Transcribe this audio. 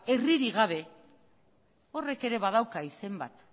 herririk gabe horrek ere badauka izen bat